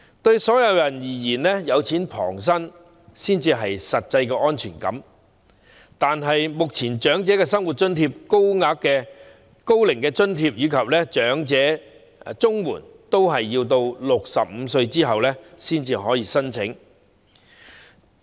對所有人而言，"有錢旁身"才會有實際的安全感，但目前申領長者生活津貼、高齡津貼及長者綜合社會保障援助金的合資格年齡均為65歲。